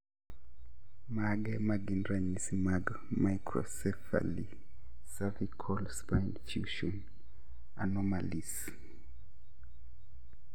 Mage magin ranyisi mag Microcephaly cervical spine fusion anomalies?